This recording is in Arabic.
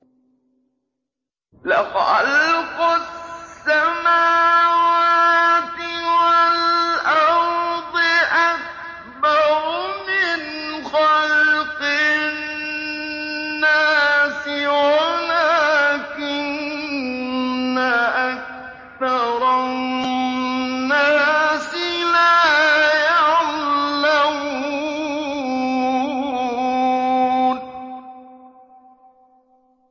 لَخَلْقُ السَّمَاوَاتِ وَالْأَرْضِ أَكْبَرُ مِنْ خَلْقِ النَّاسِ وَلَٰكِنَّ أَكْثَرَ النَّاسِ لَا يَعْلَمُونَ